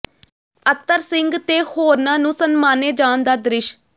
ਅਤਰ ਸਿੰਘ ਤੇ ਹੋਰਨਾਂ ਨੂੰ ਸਨਮਾਨੇ ਜਾਣ ਦਾ ਦ੍ਰਿਸ਼